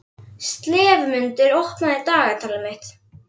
slefmundur, opnaðu dagatalið mitt.